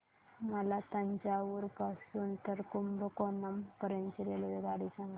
मला तंजावुर पासून तर कुंभकोणम पर्यंत ची रेल्वेगाडी सांगा